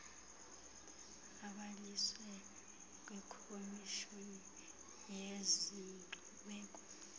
abhaliswe kwikomishoni yezenkcubeko